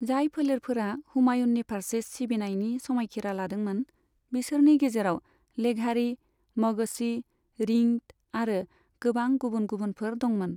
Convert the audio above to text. जाय फोलेरफोरा हुमायूननि फारसे सिबिनायनि समायखिरा लादोंमोन, बिसोरनि गेजेराव लेघारी, मगसी, रिंद आरो गोबां गुबुन गुबुनफोर दंमोन।